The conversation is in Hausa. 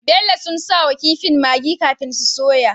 Bello sun sawa kifin maggi kafin su soya